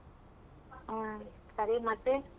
ಆ ಸರಿ ಮತ್ತೇ?